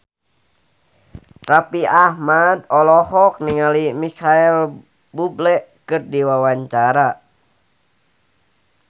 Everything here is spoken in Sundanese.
Raffi Ahmad olohok ningali Micheal Bubble keur diwawancara